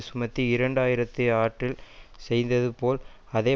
சுமத்தி இரண்டு ஆயிரத்தி ஆற்றில் செய்தது போல் அதே